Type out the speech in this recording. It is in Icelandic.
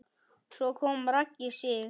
Svo kom Raggi Sig.